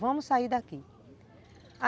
Vamos sair daqui.